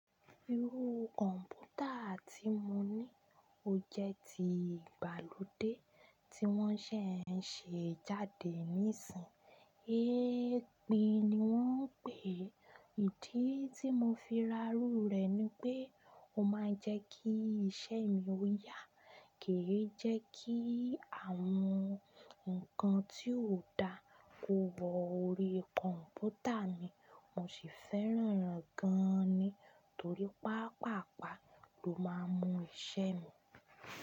Irú kọ̀ǹpútà tí mo ní ó jẹ́ ti ìgbàlódé tí wọ́n ṣẹ̀ ń ṣe jáde nísìínyi. É pí ni wọ́n ń pè é. Ìdí tí mo fi ra rú rẹ̀ ni pé ó máa ń jẹ́ kí iṣẹ́ mi ó yá. Kì í jẹ́ kí àwọn nǹkan tí ó da kó wọ orí kọ̀ǹpútà mi. Mo sì fẹ́ràn gan ní, torí pàápàápàá ló máa ń mú iṣẹ́ mi.